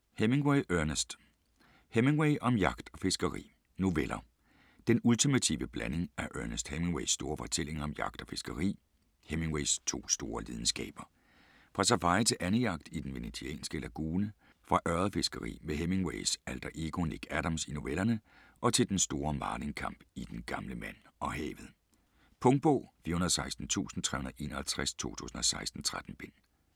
Hemingway, Ernest: Hemingway om jagt og fiskeri Noveller. Den ultimative blanding af Ernest Hemingways store fortællinger om jagt og fiskeri, Hemingways to store lidenskaber. Fra safari til andejagt i den venetianske lagune, fra ørredfiskeri med Hemingways alter ego Nick Adams i novellerne og til den store marlinkamp i "Den gamle mand og havet". Punktbog 416351 2016. 13 bind.